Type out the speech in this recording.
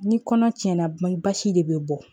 Ni kɔnɔ tiɲɛna ma basi de bɛ bɔ